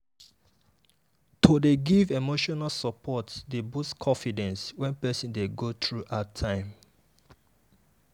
to dey give emotional support dey boost confidence when person dey go through hard time.